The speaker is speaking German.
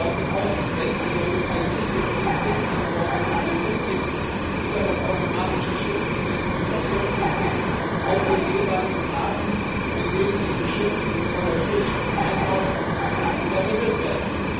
Sie sollten auch wenn ein solches IT System nicht an Bord befindlich ist über das automatische Schiffsidentifikationssystem auch dem jeweiligen Hafen, in den dieses Passagierschiff einläuft, übermittelt werden.